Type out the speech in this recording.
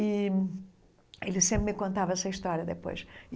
E ele sempre me contava essa história depois.